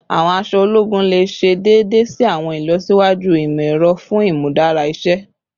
Awọn aṣọ ologun le ṣe deede si awọn ilọsiwaju imọ-ẹrọ fun imudara iṣẹ